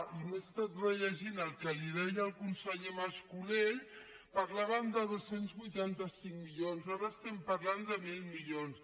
i m’he estat rellegint el que li deia el conseller mas colell parlàvem de dos cents i vuitanta cinc milions ara estem parlant de mil milions